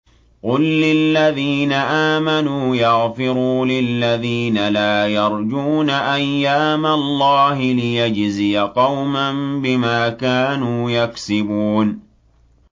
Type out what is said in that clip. قُل لِّلَّذِينَ آمَنُوا يَغْفِرُوا لِلَّذِينَ لَا يَرْجُونَ أَيَّامَ اللَّهِ لِيَجْزِيَ قَوْمًا بِمَا كَانُوا يَكْسِبُونَ